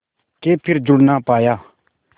के फिर जुड़ ना पाया